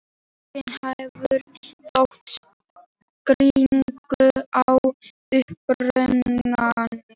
Enginn hafði þó skýringu á upprunanum.